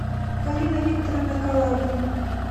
полина викторовна калабина